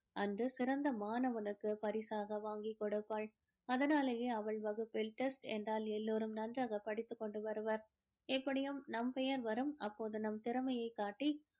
அந்த சிறந்த மாணவனுக்கு பரிசாக வாங்கிக் கொடுப்பாள் அதனாலேயே அவள் வகுப்பில test என்றால் எல்லோரும் நன்றாக படித்துக்கொண்டு வருவர் எப்படியும் நம் பெயர் வரும் அப்போது நம் திறமையை காட்டி